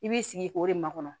I b'i sigi k'o de makɔnɔ